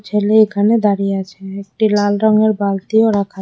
ফেলে এখানে দাঁড়িয়ে আছে একটি লাল রঙের বালতিও রাখা।